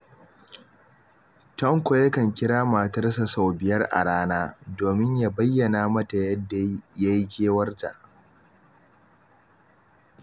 Tanko yakan kira matarsa sau biyar a rana, domin ya bayyana mata yadda ya yi kewarta.